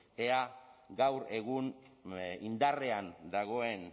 ea gaur egun indarrean dagoen